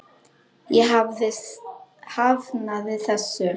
Ég hafnaði þessu.